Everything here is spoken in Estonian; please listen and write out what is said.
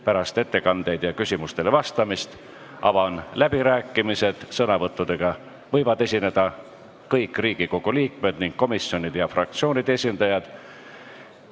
Pärast ettekandeid ja küsimustele vastamist avan läbirääkimised, sõnavõttudega võivad esineda kõik Riigikogu liikmed ning komisjonide ja fraktsioonide esindajad.